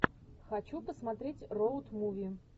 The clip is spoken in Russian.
хочу посмотреть роуд муви